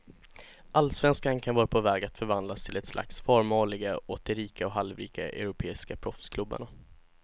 Allsvenskan kan vara på väg att förvandlas till ett slags farmarliga åt de rika och halvrika europeiska proffsklubbarna.